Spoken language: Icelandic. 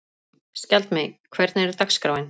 Skjaldmey, hvernig er dagskráin?